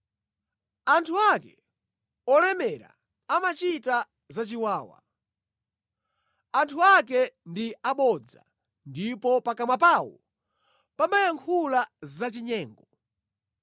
Anthu ake olemera amachita zachiwawa; anthu ake ndi abodza ndipo pakamwa pawo pamayankhula zachinyengo.